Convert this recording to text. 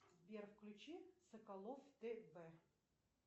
сбер включи соколов тв